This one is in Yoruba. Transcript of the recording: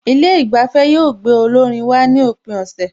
Ilé ìgbafẹ́ yóò gbé olórin wá ní òpin ọ̀sẹ̀